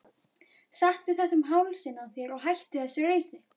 Settu þetta um hálsinn á þér og hættu þessu rausi!